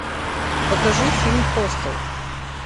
покажи фильм хостел